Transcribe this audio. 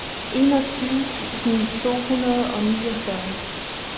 enogtyve tusind to hundrede og niogfyrre